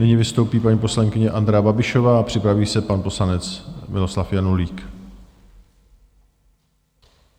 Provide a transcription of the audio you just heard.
Nyní vystoupí paní poslankyně Andrea Babišová a připraví se pan poslanec Miroslav Janulík.